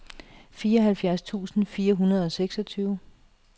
fireoghalvfjerds tusind fire hundrede og seksogtyve